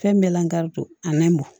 Fɛn bɛɛ lankari a ma mɔ